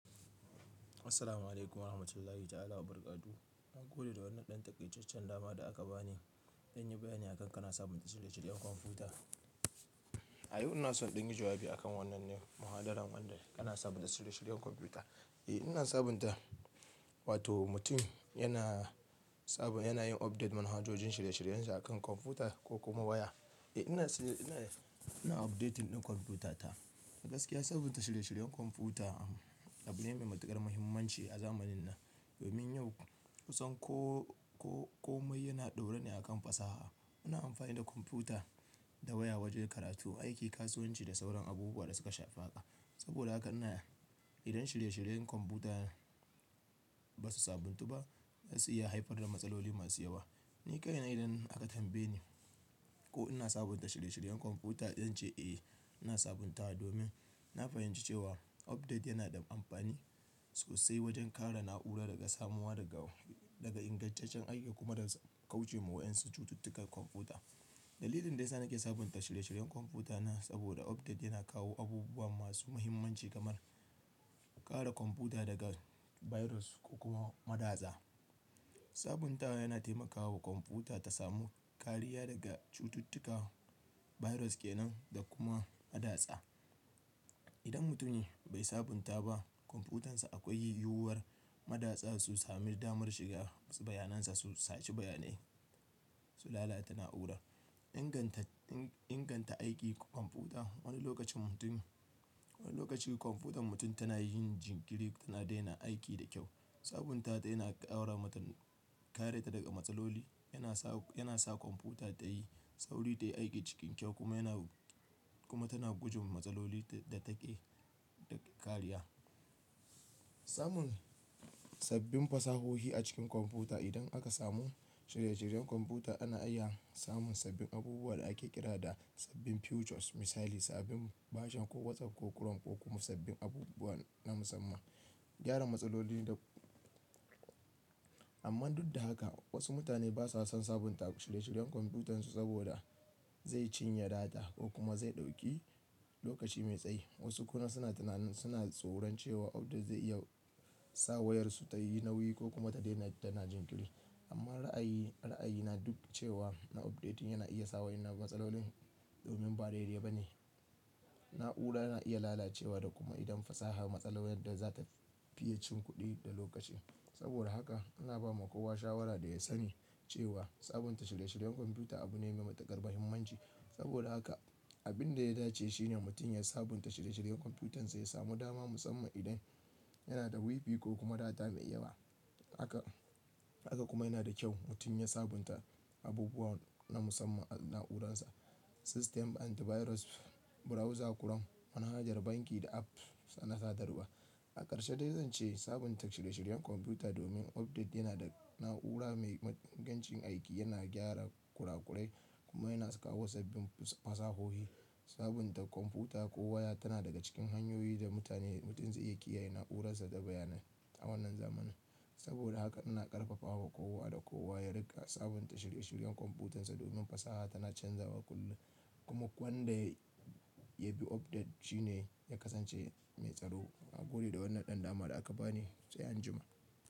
Assalamu'alaikum warahmatullahi ta'ala wa barakatu. Na gode da wannan ɗan takaiceccen dama da aka bani. Zan yi bayani akan kana sabunta shirye-shiryen kwamfuta. Ayau ina son ɗingi jawabi akan wannan ne, muhadaran wanda kana sabunta shirye-shiryen kwamfuta. Eh, ina sabunta. Wato mutum yana saba, yana yin update manahajojin shirye-shiryensa akan kwamfuta ko kuma waya. Eh ina shirye, ina, ina updating ɗin kwamfutata. Gaskiya sabunta shirye-shiryen kwamfuta abu ne mai matuƙar muhimmanci a zamanin nan. Domin yau kusan ko, ko komai yana ɗaura ne akan fasaha. Ina amfani da kwamfuta da waya wajen karatu, aiki, kasuwanci da sauran abubuwa da suka shafi haƙa. Saboda haka ina, idan shirye-shiryen kwamfuta ba su sabuntu ba, zasu iya haifar da matsaloli masu yawa. Ni kaina idan aka tambaye ni ko ina sabunta shirye-shiryen kwamfuta, zanci eh ina sabuntawa domin na fahimci cewa update yana da amfani sosai wajen kare na'ura daga samuwa daga, daga ingantaccen aiki kuma kauce wa 'yan cututtukar kwamfuta. Dalilin da yasa nake sabunta shirye-shiryen kwamfuta na saboda update yana kawo abubuwa masu muhimmanci kamar kare kwamfuta daga virus ko kuma madatsa. Sabuntawa yana taimakawa kwamfuta ta samu kariya daga cututtuka, virus kenan da kuma madatsa. Idan mutum bai sabunta ba kwamfutansa akwai yiwuwar madatsa su sami damar shiga wasu bayanansa su sace bayanai, su lalata na'ura. Inganta, inganta aiki kwamfuta. Wani lokacin mutum, wani lokaci kwamfutar mutum tana yin jinkiri, tana daina aiki da kyau. Sabunta ta yana ƙaura matu, kare ta daga matsaloli. Yana sa, yana sa kwamfuta tayi sauri, tayi aiki cikin kyau kuma yana, kuma tana gujin matsaloli da take da kariya. Samun sabbin fasahohi a cikin kwamfuta. Idan aka samu shirye-shiryen kwamfuta ana iya samun sabbin abubuwa da ake kira da sabbin features. Misali sabbin version ko WhatsApp ko Chrome ko kuma sabbin abubuwa na musamman. Gyara matsaloli da-- amma duk da haka wasu mutane ba sa son sabunta shirye-shiryen kwamfutansu saboda zai cinye data ko kuma zai ɗauki lokaci mai tsayi. Wasu kuma suna tunan, suna tsoron cewa update zai iya sa wayarsu tayi nauyi ko kuma ta daina tana jinkiri. Amma ra'ayi, ra'ayi na duk cewa na updating yana iya sa wayar na matsalolin domin ba daidai ba ne. Na'ura yana iya lalacewa da kuma idan fasaha matsala yadda za ta fiye cin kuɗi da lokaci. Saboda haka ana ba ma kowa shawara da ya sani cewa sabunta shirye-shiryen kwamfuta abu ne mai matuƙar muhimmanci. Saboda haka abin da ya dace shine mutum ya sabunta shirye-shiryen kwamfutansa ya samu dama musamman idan yana da WiFi ko kuma data mai iyawa. Haka, haka kuma yana da kyau mutum ya sabunta abubuwa na musamman a na'uransa. System antivirus, browser chrome, manahajar banki da apps na sadarwa. A karshe dai zan ce sabunta shirye-shiryen kwamfuta domin update yana da na'ura mai ingancin aiki, yana gyara kurakurai kuma yana sa kawo sabbin fasahohi. Sabunta kwamfuta ko waya tana daga cikin hanyoyi da mutane, mutum zai iya kiyaye na'uransa da bayanai a wannan zamanin. Saboda haka ina ƙarfafawa kowa da kowa ya riƙa sabunta shirye-shiryen kwamfutansa domin fasaha tana canzawa kullum. Kuma wanda ya bi update shine ya kasance mai tsaro. Na gode da wannan ɗan dama da aka bani said an juma.